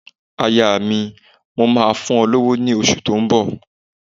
Aya mi, mò máa fún ọ lówó ní oṣù tó ń bọ̀.